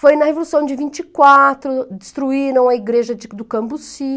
Foi na Revolução de vinte e quatro, destruíram a igreja de do Cambuci.